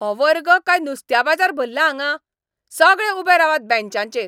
हो वर्ग काय नुस्त्या बाजार भल्ला हांगां? सगळे उबे रावात बँचांचेर!